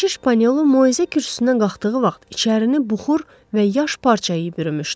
Keşiş Pannu moizə kürsüsünə qalxdığı vaxt içərini buxur və yaş parça yayı bürümüşdü.